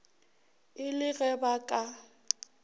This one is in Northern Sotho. e le ge ba ka